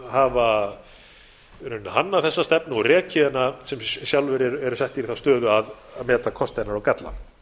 hafa hannað þessa stefnu og rekið hana sem sjálfir eru settir í þá stöðu að meta kosti hennar og galla